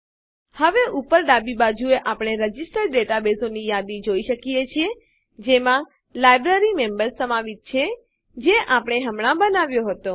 હવે ઉપર ડાબી બાજુએ આપણે રજીસ્ટર નોંધાયેલા ડેટાબેઝોની યાદી જોઈ શકીએ છીએ જેમાં લાઇબ્રેરીમેમ્બર્સ સમાવિત છે જે આપણે હમણાં બનાવ્યો હતો